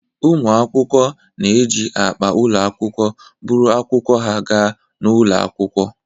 Ụmụ akwụkwọ na-eji akpa ụlọ akwụkwọ buru akwụkwọ ha ga n'ụlọ akwụkwọ.